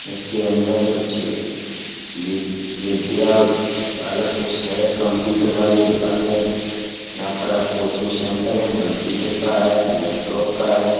इसके अंदर कुछ वी विद्या वाला कुछ है। कंप्युटर वाली दुकान है। यहाँ पर कोचिंग सेंटर है कंप्युटर का है लैपटॉप का है।